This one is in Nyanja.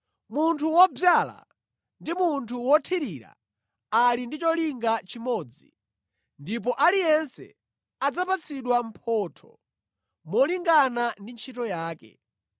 Munthu wodzala ndi munthu wothirira ali ndi cholinga chimodzi, ndipo aliyense adzapatsidwa mphotho molingana ndi ntchito yake.